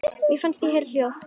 Mér fannst ég heyra hljóð.